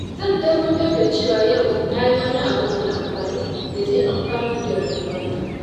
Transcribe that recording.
Zan tabbatar da cewa yau na yi wani abu mai amfani da zai amfanar da rayuwata.